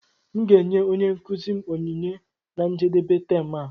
M ga-enye onye nkuzi m onyinye na njedebe tem a